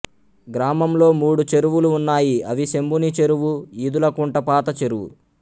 గ్రామంలో మూడు చెరువులు ఉన్నాయి అవి శంభుని చెరువు ఈదుల కుంట పాత చెరువు